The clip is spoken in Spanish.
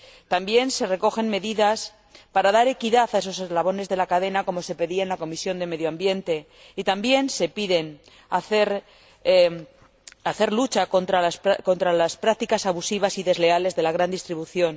También se recogen medidas para dar equidad a esos eslabones de la cadena, como se pedía en la Comisión de Medio Ambiente, y también se pide luchar contra las prácticas abusivas y desleales de la gran distribución.